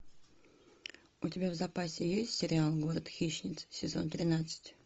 у тебя в запасе есть сериал город хищниц сезон тринадцать